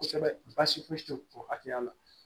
Kosɛbɛ baasi foyi tɛ o hakɛya la